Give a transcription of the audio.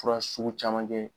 Fura sugu caman kɛ.